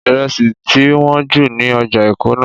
Ìrẹsì ti wọ́n jù ní ọjà Èkó náà